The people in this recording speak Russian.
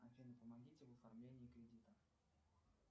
афина помогите в оформлении кредита